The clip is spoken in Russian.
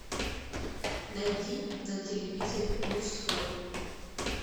найди на телевизоре мужской